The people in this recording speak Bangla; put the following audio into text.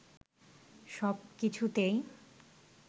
সব কিছুতেই